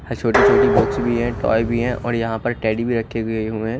छोटी छोटी बॉक्स भी है टॉय भी है और यहाँ पर टेडी भी रखे हुए है।